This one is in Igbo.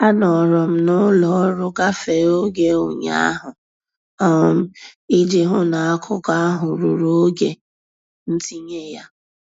Anọrọ m n'ụlọ ọrụ gafee oge ụnyaahụ um iji hụ na akụkọ ahụ ruru oge ntinye ya.